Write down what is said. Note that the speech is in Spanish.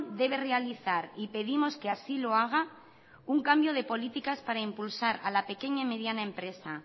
debe realizar y pedimos que así lo haga un cambio de políticas para impulsar a la pequeñay empresa